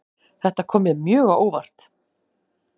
Þetta kom mér mjög á óvart